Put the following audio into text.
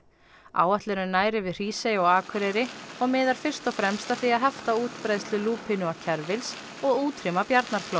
áætlunin nær yfir Hrísey og Akureyri og miðar fyrst og fremst að því að hefta útbreiðslu lúpínu og kerfils og útrýma